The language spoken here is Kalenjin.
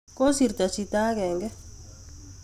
Kosirto chito agenge